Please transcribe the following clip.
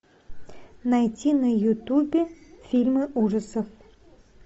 найти на ютубе фильмы ужасов